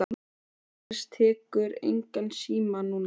Hún Agnes tekur engan síma núna.